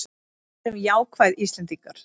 Verum jákvæð Íslendingar!